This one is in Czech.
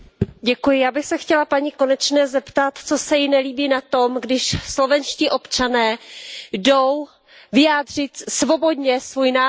Já bych se chtěla paní Konečné zeptat, co se jí nelíbí na tom, když slovenští občané jdou svobodně vyjádřit svůj názor.